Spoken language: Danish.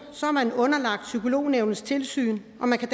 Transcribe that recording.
er man underlagt psykolognævnets tilsyn og man kan